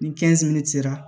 Ni sera